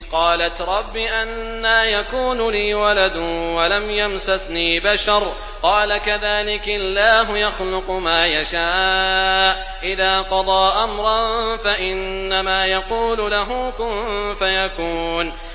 قَالَتْ رَبِّ أَنَّىٰ يَكُونُ لِي وَلَدٌ وَلَمْ يَمْسَسْنِي بَشَرٌ ۖ قَالَ كَذَٰلِكِ اللَّهُ يَخْلُقُ مَا يَشَاءُ ۚ إِذَا قَضَىٰ أَمْرًا فَإِنَّمَا يَقُولُ لَهُ كُن فَيَكُونُ